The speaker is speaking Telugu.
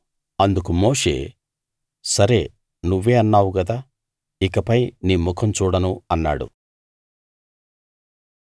అందుకు మోషే సరే నువ్వే అన్నావు గదా ఇకపై నీ ముఖం చూడను అన్నాడు